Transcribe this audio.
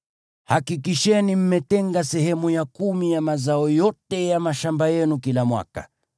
Hakikisheni mmetenga sehemu ya kumi ya mazao yote ya mashamba yenu kila mwaka.